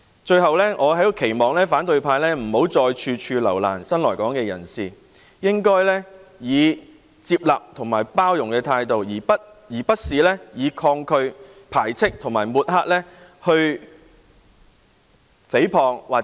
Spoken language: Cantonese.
最後，我在此期望反對派不要再處處留難新來港人士，應該以接納及包容的態度，而不是以抗拒、排斥和抹黑的態度來誹謗，或把責任諉過於人。